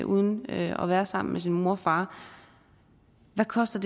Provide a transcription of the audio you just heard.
uden at være sammen med sin mor og far hvad koster